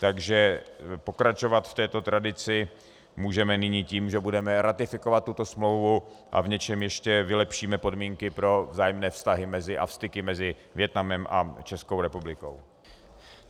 Takže pokračovat v této tradici můžeme nyní tím, že budeme ratifikovat tuto smlouvu a v něčem ještě vylepšíme podmínky pro vzájemné vztahy a styky mezi Vietnamem a Českou republikou.